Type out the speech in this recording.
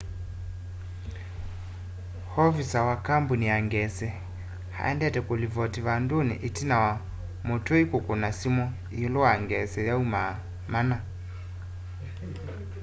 ovisaa wa kambũni ya ngesi aendete kũlivoti vandũnĩ ĩtina wa mũtũi kũkũna simũ ĩũlũ wa ngesi yaumaa mana